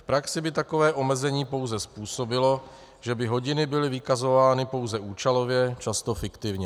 V praxi by takové omezení pouze způsobilo, že by hodiny byly vykazovány pouze účelově, často fiktivně.